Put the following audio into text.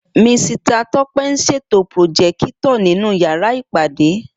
Misita Tọ́pẹ́ ń ṣètò pùròjékítọ̀r nínú yàrá ìpàdé